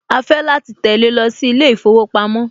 Á á fẹ́ láti tẹ̀le lọ sí ilé ìfowópamọ́